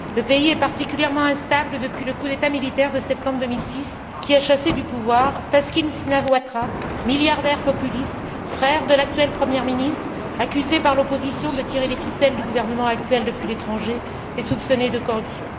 Le pays est particulièrement instable depuis le coup d'État militaire de septembre 2006, qui a chassé du pouvoir Thaksin Shinawatra, milliardaire populiste, frère de l'actuelle premier ministre, accusé par l'opposition de tirer les ficelles du gouvernement actuel depuis l'étranger et soupçonné de corruption.